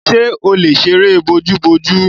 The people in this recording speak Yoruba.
Ṣè ó lè sẹ̀rẹ̀ bọ̀jù bọ̀jù?